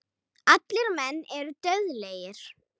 Allir menn eru dauðlegir.